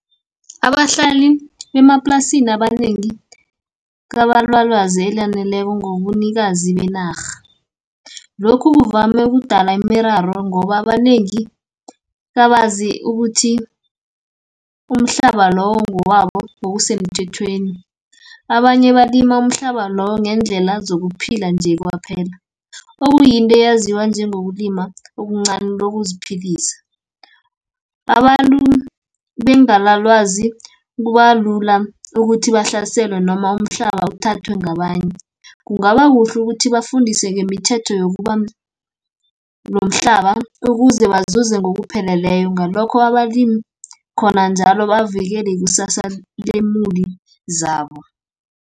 Abahlali bemaplasini, abanengi kabana lwazi elaneleko ngobunikazi benarha. Lokhu kuvame kudala imiraro ngoba abanengi kabazi ukuthi, umhlaba lowo ngowabo ngokusemthethweni. Abanye balima umhlaba loyo, ngendlela zokuphila nje kwaphela, okuyinto eyaziwa njengokulima okuncani lokuziphilisa . Abantu bengana lwazi, kubalula ukuthi bahlaselwe noma umhlaba uthathwe ngabanye. Kungaba kuhle ukuthi bafundise ngemithetho yokubanomhlaba, ukuze bazuza ngokupheleleko, ngalokho abalimi khona njalo bavikele ikusasa lemubi zabo.